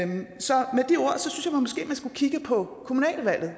man skulle kigge på kommunalvalget